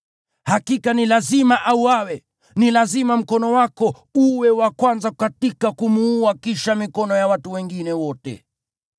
Hakika ni lazima auawe. Ni lazima mkono wako uwe wa kwanza katika kumuua kisha mikono ya watu wengine wote.